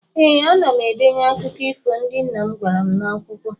Ee, ana m edenye akụkụ ifo ndị nna m gwara m n'akwụkwọ.